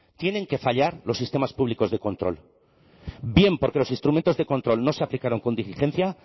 tienen que fallar los sistemas públicos de control bien porque los instrumentos de control no se aplicaron con diligencia